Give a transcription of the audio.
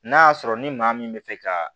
N'a y'a sɔrɔ ni maa min bɛ fɛ ka